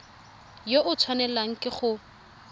yo o tshwanelang ke go